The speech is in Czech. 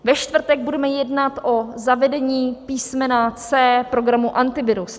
Ve čtvrtek budeme jednat o zavedení písmene C programu Antivirus.